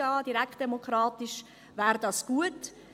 Wäre das direktdemokratisch gut?